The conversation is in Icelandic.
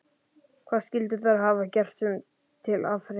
Hvað skyldu þær hafa gert sér til afþreyingar?